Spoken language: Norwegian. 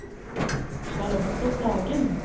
Charlotte Sagen